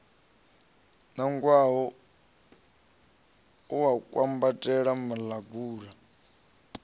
nangwaho u a kwambatela muḽagalu